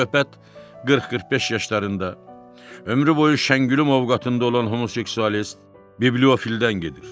Söhbət 40-45 yaşlarında ömrü boyu şəngülü movqatında olan homoseksualist bibliofildən gedir.